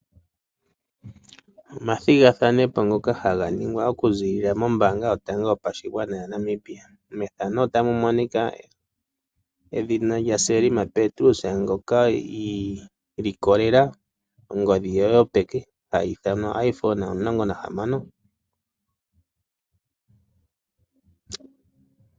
Omathigathanopo ngoka haga ningwa okuzilila mombanga yotango yopashigwana yaNamibia. Mpoka pu na Selma Petrus ngoka isindanene ongodhi ye yo peke hayi ithanwa oIPhone 16.